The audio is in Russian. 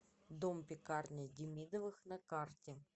дом пекарня демидовых на карте